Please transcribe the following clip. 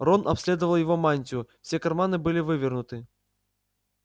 рон обследовал его мантию все карманы были вывернуты